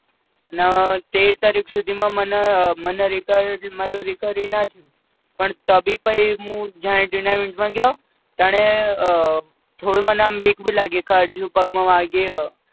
ન તેર તારીખ સુધીમાં મન મને રિકવ મારી recovery ના થઈ પણ તો ભી ઉ પઈ જાણી જોઈને tournament માં ગયો તાણે અ થોડું મને આમ બીક ભી લાગી કે હજુ પગમાં વાગ્યું